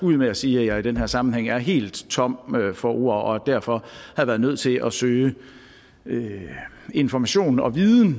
ud med at sige at jeg i den her sammenhæng var helt tom for ord og derfor havde været nødt til at søge information og viden